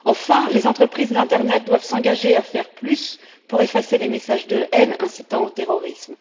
Enfin, les entreprises d'internet doivent s'engager à faire plus pour effacer les messages de haine incitant au terrorisme.